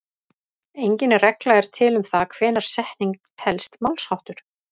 Engin regla er til um það hvenær setning telst málsháttur.